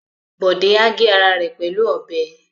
Bọ̀dé á gé ara rẹ pẹ̀lú ọbẹ̀